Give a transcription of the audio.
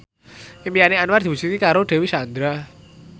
impine Anwar diwujudke karo Dewi Sandra